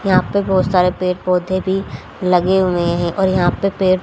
यहां पे बहोत सारे पेड़ पौधे भी लगे हुए है और यहां पे पेड़--